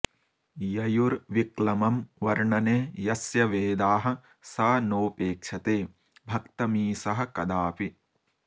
ययुर्विक्लमं वर्णने यस्य वेदाः स नोपेक्षते भक्तमीशः कदापि